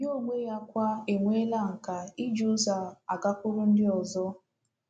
Ya onwe ya kwa enweela nkà iji ụzọ a agakwuru ndị ọzọ.